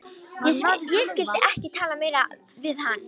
Ég skyldi ekki tala meira við hann.